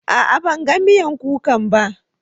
A'a, ban gan miyan kukan ba.